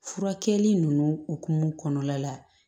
Furakɛli ninnu hokumu kɔnɔna la